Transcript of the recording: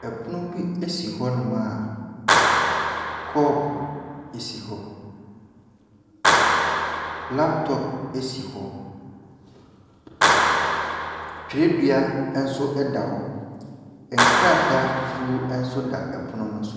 Ɛpono bi esi hɔ nom a cupo esi hɔ. Laptop esi hɔ, twerɛdua ɛnso ɛda hɔ, nkrataa fufu ɛnso ɛda pono no so.